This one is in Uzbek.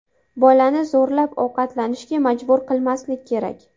Bolani zo‘rlab ovqatlanishga majbur qilmaslik kerak.